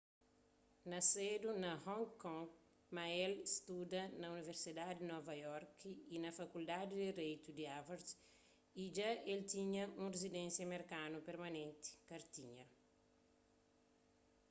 nasedu na hong kong ma el studa na universidadi di nova iorki y na fakuldadi di direitu di harvard y dja el tinha un rizidensia merkanu permanenti kartinha